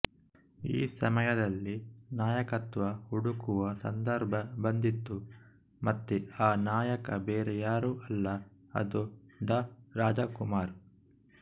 ಈ ಸಮಯದಲ್ಲಿ ನಾಯಕತ್ವ ಹುಡುಕುವ ಸಂದರ್ಭ ಬಂದಿತು ಮತ್ತೆ ಆ ನಾಯಕ ಬೇರೆ ಯಾರು ಅಲ್ಲ ಅದು ಡಾ ರಾಜಕುಮಾರ್